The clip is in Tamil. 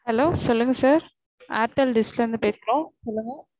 hello சொல்லுங்க sir airtel dish ல இருந்து பேசறோம்.